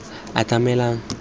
atamelang